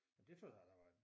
Men troede jeg der var